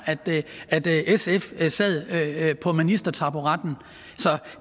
sf sad på ministertaburetten så